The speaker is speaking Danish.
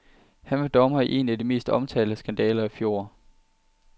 Han var dommer i en af de mest omtalte skandaler i fjor.